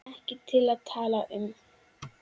Ekki til að tala um.